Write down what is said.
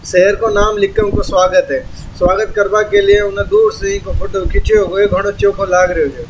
शहर को नाम लिख के उनको स्वागत है स्वागत कर्मा के लिए उने दो चोखो लागरियो है।